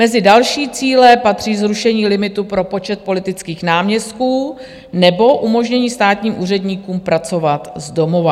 Mezi další cíle patří zrušení limitu pro počet politických náměstků nebo umožnění státním úředníkům pracovat z domova.